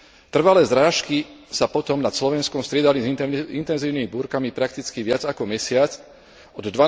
Trvalé zrážky sa potom nad Slovenskom striedali s intenzívnymi búrkami prakticky viac ako mesiac, od